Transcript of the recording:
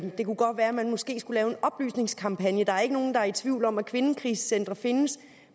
det kunne godt være at man måske skulle lave en oplysningskampagne der er ikke nogen der er i tvivl om at kvindekrisecentre findes